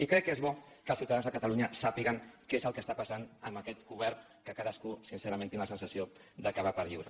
i crec que és bo que els ciutadans de catalunya sàpiguen què és el que està passant amb aquest govern que cadascú sincerament tinc la sensació que va per lliure